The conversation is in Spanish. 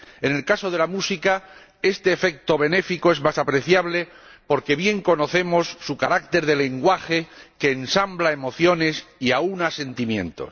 En el caso de la música, este efecto benéfico es más apreciable porque bien conocemos su carácter de lenguaje que ensambla emociones y aúna sentimientos.